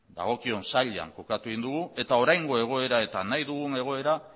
dagokion sailean kokatu dugu eta oraingo egoera eta nahi dugun egoera